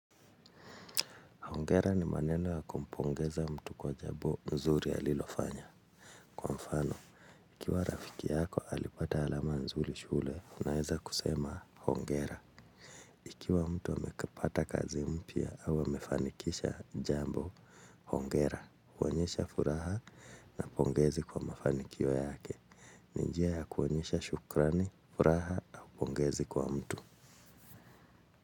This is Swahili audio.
Hongera ni maneno ya kumpongeza mtu kwa jambo nzuri alilofanya. Kwa mfano, ikiwa rafiki yako alipata alama nzuri shule unaweza kusema, hongera. Ikiwa mtu amekipata kazi mpya au amefanikisha jambo hongera, huonyesha furaha na pongezi kwa mafanikio yake. Ni njia ya kuonyesha shukrani, furaha na pongezi kwa mtu.